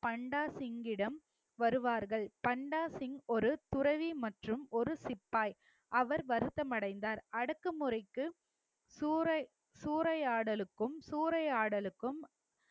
பண்டாசிங்கிடம் வருவார்கள் பண்டாசிங் ஒரு துறவி மற்றும் ஒரு சிப்பாய் அவர் வருத்தம் அடைந்தார் அடக்குமுறைக்கு சூறை~ சூறையாடலுக்கும் சூறையாடலுக்கும்